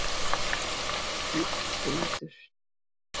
Matthildur